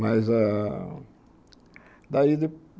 Mas ah... Daí...